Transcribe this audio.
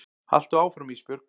Haltu áfram Ísbjörg.